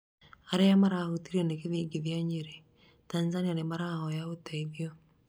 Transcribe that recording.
aria marahũtirio nĩ gĩthĩngithia Nyĩrĩ, Tanzania nĩmarahoya ũteithio